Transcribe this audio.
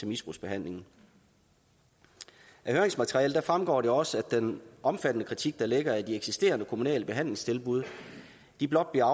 misbrugsbehandlingen af høringsmaterialet fremgår også at den omfattende kritik der ligger af de eksisterende kommunale behandlingstilbud blot bliver